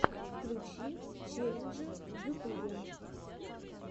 включи челленджи в ютубе